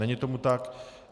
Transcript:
Není tomu tak.